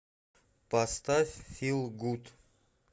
поставь фил гуд